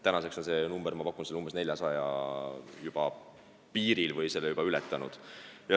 Tänaseks on see arv, ma pakun, 400 piiril või on selle juba ületanud.